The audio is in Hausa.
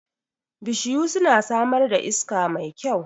Bishiyu suna samar da iska mai kyau